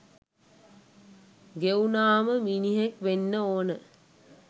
ගෙවුනාම මිනිහෙක් වෙන්න ඕනෙ